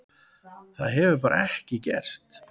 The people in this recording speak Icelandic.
Það hefur bara ekki gerst.